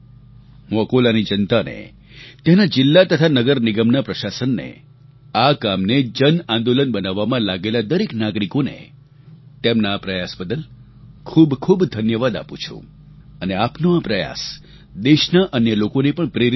હું અકોલાની જનતાને ત્યાંના જિલ્લા તથા નગર નિગમના પ્રશાસનને આ કામને જનઆંદોલન બનાવવામાં લાગેલા દરેક નાગરિકોને તેમના આ પ્રયાસ બદલ ખૂબખૂબ ધન્યવાદ આપું છું અને આપનો આ પ્રયાસ દેશના અન્ય લોકોને પણ પ્રેરિત કરશે